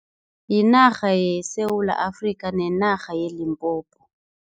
Yinarha yeSewula Afrika nenarha yeLimpopo.